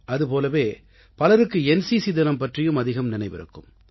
அதுபோலவே பலருக்கு என்சிசி தினம் பற்றியும் அதிகம் நினைவிருக்கும்